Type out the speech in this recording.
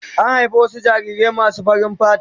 An haifi wasu jarirai masu farin fata.